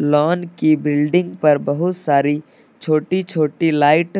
lawn की building पर बहुत सारी छोटी छोटी लाइट